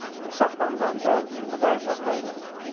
сақтанғанды құдай сақтайды